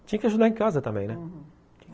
Tinha que ajudar em casa também, né? uhum